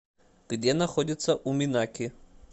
где находится уминаки